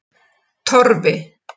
Torfi